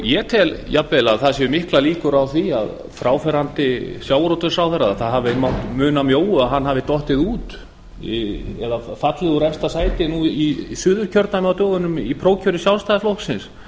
ég tel jafnvel að það séu miklar líkur á því að það hafi mátt muna mjóu að fráfarandi sjávarútvegsráðherra hafi dottið út eða fallið úr efsta sæti nú í suðurkjördæmi á dögunum í prófkjöri sjálfstæðisflokksins